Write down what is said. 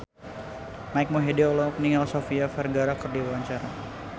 Mike Mohede olohok ningali Sofia Vergara keur diwawancara